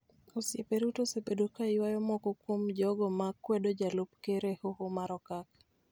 Osiepe Ruto osebedo ka ywayo moko kuom jogo ma kwedo jalup Ker e Hoho mar Okak